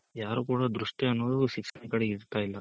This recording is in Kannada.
ಯಾರು ಕೂಡ ದೃಷ್ಟಿ ಅನ್ನೋದು ಶಿಕ್ಷಣದ ಕಡೆ ಇಡ್ತಾ ಇಲ್ಲ.